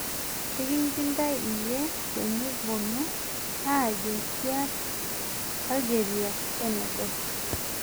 Ekinjindai iyie tenibonu ajo kiar Algeria Senegal